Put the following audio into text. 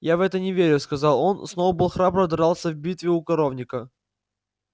я в это не верю сказал он сноуболл храбро дрался в битве у коровника